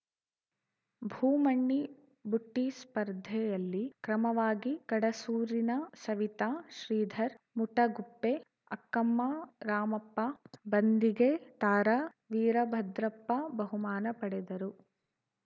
ಭೂಮಣ್ಣಿ ಬುಟ್ಟಿಸ್ಪರ್ಧೆಯಲ್ಲಿ ಕ್ರಮವಾಗಿ ಕಡಸೂರಿನ ಸವಿತಾ ಶ್ರೀಧರ್‌ ಮುಟಗುಪ್ಪೆ ಅಕ್ಕಮ್ಮ ರಾಮಪ್ಪ ಬಂದಿಗೆ ತಾರಾ ವೀರಭದ್ರಪ್ಪ ಬಹುಮಾನ ಪಡೆದರು